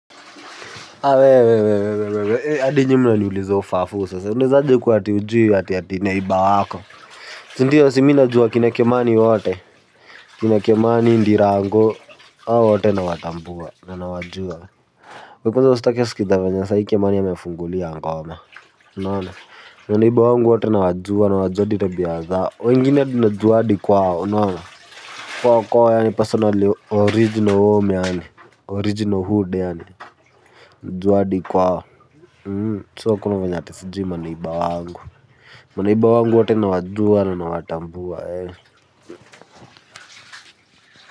Wewe hadi nyinyi mnaniuliza ufafu sasa unawezajekuwa ati haujui jirani wako si ndio mimi najua kina kimani wote kina kimani ndirangu hao wote nawatambua na nnawajua kwanza sai usitake kujua vile kimani amefungulia ngoma unaona unaona neiba wangu wote nawajua najua hadi tabia zao wengine tunajua hadi kwao, unaona kwa kwa yaani pasonali original wewe umeona original hood yaani juu hadi kwao so hakuna ati maneiba wangu, maneiba wangu wote nawajua na ninawatambua.